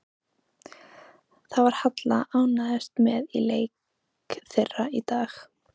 Hvað var Halla ánægðust með í leik þeirra í dag?